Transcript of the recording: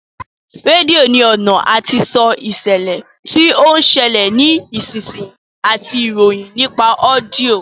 Rédíò ní ọ̀nà àti sọ ìṣẹ̀lẹ̀ tí ó ń ṣẹlẹ̀ ní ìsinsìnyí àti ìròyìn nípa ọ́díọ̀